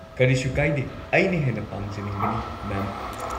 ꯀꯔꯤꯁꯨ ꯀꯥꯏꯗꯦ, ꯑꯩꯅ ꯍꯦꯟꯅ ꯄꯥꯡꯖꯅꯤꯡꯕꯅꯤ, ꯃꯦꯝ꯫